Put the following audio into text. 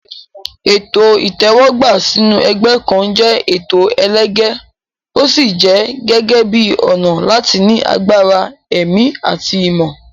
Ètò ìtẹ́wọ́gbà sínú ẹgbẹ́ kan jẹ́ ètò ẹlẹgẹ́, ó sì jẹ gẹ́gẹ́ bíi ọ̀nà láti ní agbára ẹ̀mí àti ìmọ̀.